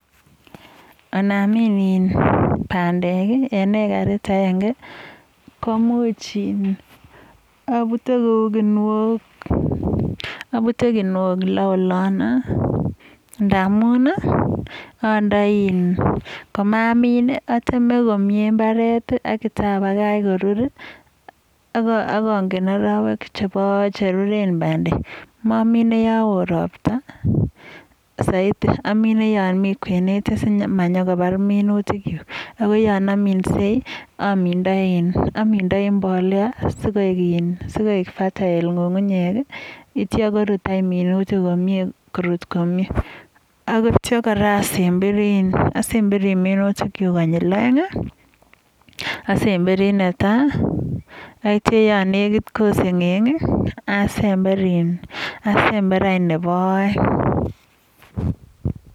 Anamin in pandek eng ekarit agenge, komuch in aput kou kinuok loo olon ndamun, andoi, komamin, ateme komie imbaret aityo apakach korur. Ak angen arowek cheruren pandek. mamine yoo oo ropta saiti amine yoo mi kwenet simanyokopar minutikchu. Ko yon aminsei, amindai mbolea asikoek fertile ng'ung'unyek atio kopwa minutik komie, korut komie. Aneityo kora asemberi minutikchu konyil oeng, asemberi ne tai, atyo yo nekit koseng'eng asember anyun nebo oeng.